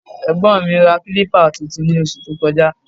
Ẹ̀gbọ́n mi ra kílípà tuntun ní oṣù tó kọjá